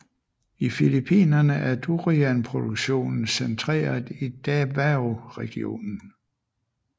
I Philippinerne er durianproduktionen centreret i Davaoregionen